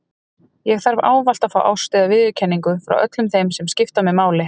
Ég þarf ávallt að fá ást eða viðurkenningu frá öllum þeim sem skipta mig máli.